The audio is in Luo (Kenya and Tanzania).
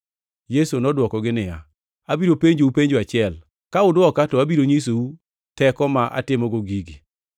Yesu nodwokogi niya, “Abiro penjou penjo achiel. Ka udwoka, to abiro nyisou teko ma atimogo gigi.